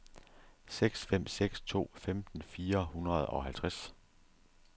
seks fem seks to femten fire hundrede og halvtreds